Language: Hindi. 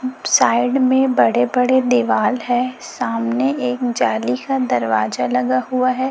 साइड में बड़े बड़े दीवाल है सामने एक जाली का दरवाजा लगा हुआ है।